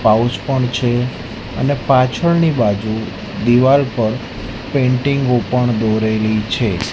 Pouch પણ છે અને પાછળની બાજુ દીવાલ પર પેઇન્ટિંગો પણ દોરેલી છે.